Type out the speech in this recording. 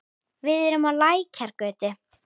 Við erum á Lækjargötu.